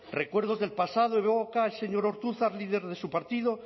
recuerdos del pasado y luego cae el señor ortuzar líder de su partido